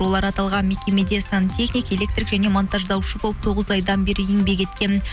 олар аталған мекемеде сантехник электрик және монтаждаушы болып тоғыз айдан бері еңбек еткен